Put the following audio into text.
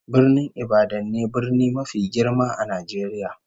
Birnin Ibadan ne brni mafi girma a Najeriya